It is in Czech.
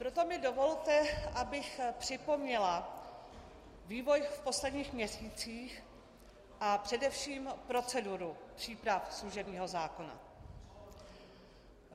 Proto mi dovolte, abych připomněla vývoj v posledních měsících a především proceduru příprav služebního zákona.